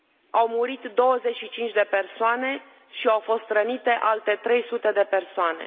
Au murit 25 de persoane și au fost rănite alte 300 de persoane.